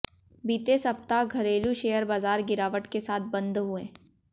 बीते सप्ताह घरेलू शेयर बाजार गिरावट के साथ बंद हुए